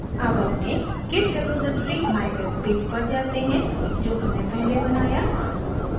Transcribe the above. अब अपने git repository mywebpage पर जाते हैं जो हमने पहले बनाया